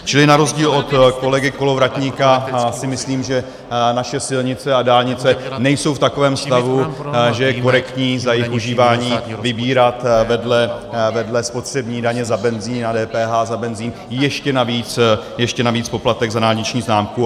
Čili na rozdíl od kolegy Kolovratníka si myslím, že naše silnice a dálnice nejsou v takovém stavu, že je korektní za jejich užívání vybírat vedle spotřební daně za benzin a DPH za benzin ještě navíc poplatek za dálniční známku.